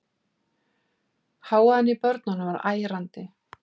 Hávaðinn í börnunum var ærandi.